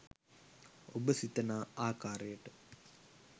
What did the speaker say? ඔබ සිතනා ආකාරයට